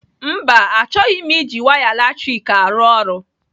Mba, achọghị m iji waya latrik arụ ọrụ.